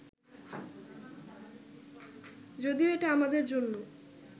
যদিও এটা আমাদের জন্য